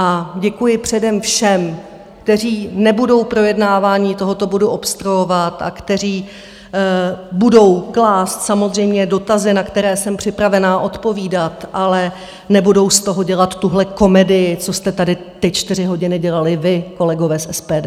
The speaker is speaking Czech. A děkuji předem všem, kteří nebudou projednávání tohoto bodu obstruovat a kteří budou klást samozřejmě dotazy, na které jsem připravená odpovídat, ale nebudou z toho dělat tuhle komedii, co jste tady ty čtyři hodiny dělali vy, kolegové z SPD.